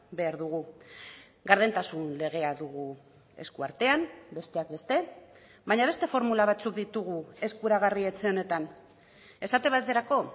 behar dugu gardentasun legea dugu esku artean besteak beste baina beste formula batzuk ditugu eskuragarri etxe honetan esate baterako